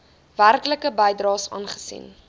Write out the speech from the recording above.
werklike bydraes aangesien